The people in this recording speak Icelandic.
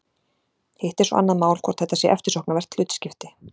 hitt er svo annað mál hvort þetta sé eftirsóknarvert hlutskipti